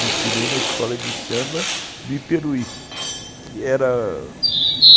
Destilei na escola de samba do Iperuí, que era a